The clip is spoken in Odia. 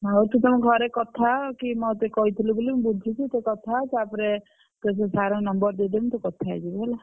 ହଉ ତୁ ତମ ଘରେ କଥା ହ କି ମତେ କହିଥିଲୁ ବୋଲି ମୁଁ ବୁଝିଛି ସେ କଥା ହ ତାପରେ ତତେ ସେ sir ଙ୍କ number ଦେଇଦେବି ତୁ କଥା ହେଇଯିବୁ ହେଲା।